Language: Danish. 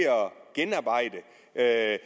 at